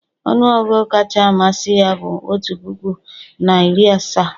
ọnụ ọgụgụ kacha amasị ya bụ otu puku na iri asaa